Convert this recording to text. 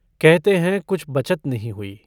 कहते हैं कुछ बचत नहीं हुई।